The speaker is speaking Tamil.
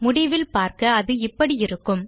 முடிவில் பார்க்க அது இப்படி இருக்கும்